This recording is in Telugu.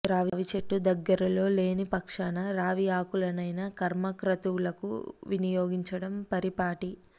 రావి చెట్టు దగ్గరలో లేని పక్షాన రావి ఆకులనైనా కర్మ క్రతువులకు వినియోగించడం పరిపాటి